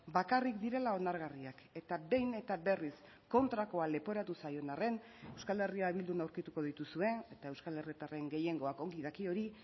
bakarrik direla onargarriak eta behin eta berriz kontrakoa leporatu zaion arren euskal herria bildun aurkituko dituzue eta euskal herritarren gehiengoak ongi daki hori